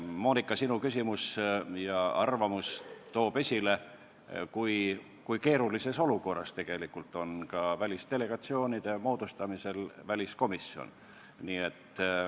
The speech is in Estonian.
Moonika, sinu küsimus ja arvamus toob esile, kui keerulises olukorras tegelikult on väliskomisjon välisdelegatsioonide moodustamisel.